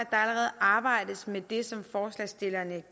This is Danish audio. allerede arbejdes med det som forslagsstillerne